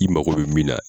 I mago bɛ min na